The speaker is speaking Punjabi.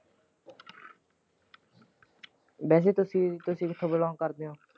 ਵੈਸੇ ਤੁਸੀ ਤੁਸੀ ਕਿਥੋਂ belong ਕਰਦੇ ਓ?